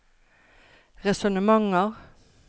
resonnementer